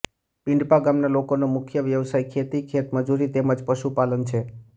પિંડપા ગામના લોકોનો મુખ્ય વ્યવસાય ખેતી ખેતમજૂરી તેમ જ પશુપાલન છે